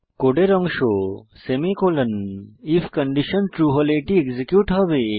কোডের অংশ semicolon if condition true হলে এটি এক্সিকিউট হবে